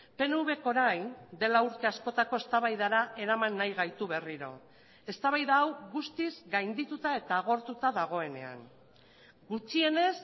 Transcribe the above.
pnvk orain dela urte askotako eztabaidara eraman nahi gaitu berriro eztabaida hau guztiz gaindituta eta agortuta dagoenean gutxienez